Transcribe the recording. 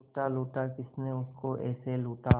लूटा लूटा किसने उसको ऐसे लूटा